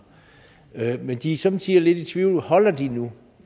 men de er somme tider lidt i tvivl holder det nu